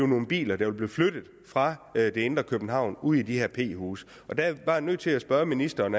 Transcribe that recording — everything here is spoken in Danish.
nogle biler der vil blive flyttet fra det indre københavn og ud i de her p huse der er jeg bare nødt til at spørge ministeren